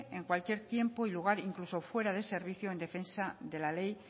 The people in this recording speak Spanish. en cualquier tiempo y lugar incluso fuera de servicio en defensa de la ley